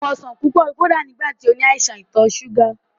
Ó mu ọsàn púpọ̀ kódà nígbà tí ó ní àìsàn ìtọ̀ súgà